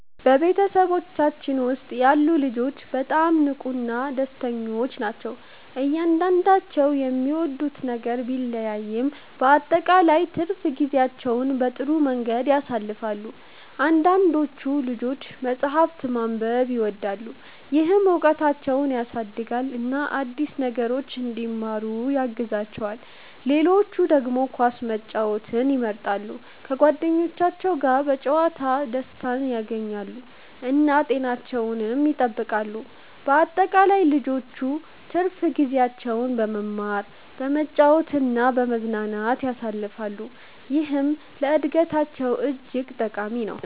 በቤተሰባችን ውስጥ ያሉ ልጆች በጣም ንቁና ደስተኞች ናቸው። እያንዳንዳቸው የሚወዱት ነገር ቢለያይም በአጠቃላይ ትርፍ ጊዜያቸውን በጥሩ መንገድ ያሳልፋሉ። አንዳንዶቹ ልጆች መጽሐፍ ማንበብን ይወዳሉ፣ ይህም እውቀታቸውን ያሳድጋል እና አዲስ ነገሮችን እንዲማሩ ያግዛቸዋል። ሌሎች ደግሞ ኳስ መጫወትን ይመርጣሉ፣ በጓደኞቻቸው ጋር በመጫወት ደስታን ያገኛሉ እና ጤናቸውንም ይጠብቃሉ። በአጠቃላይ ልጆቹ ትርፍ ጊዜያቸውን በመማር፣ በመጫወት እና በመዝናናት ያሳልፋሉ፣ ይህም ለእድገታቸው እጅግ ጠቃሚ ነው።